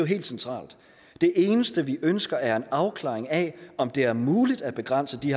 helt centralt det eneste vi ønsker er en afklaring af om det er muligt at begrænse de